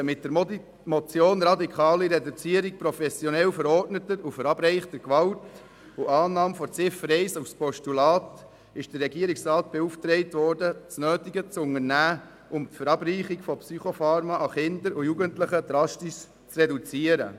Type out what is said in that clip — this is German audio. Mit der Motion «Radikale Reduzierung professionell verordneter und verabreichter Gewalt» und der Annahme von Ziffer 1 als Postulat ist der Regierungsrat beauftragt worden, das Nötige zu unternehmen, um die Verabreichung von Psychopharmaka an Kinder und Jugendliche drastisch zu reduzieren.